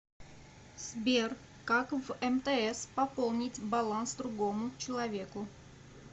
сбер как в мтс пополнить баланс другому человеку